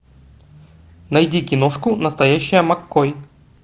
найди киношку настоящая маккой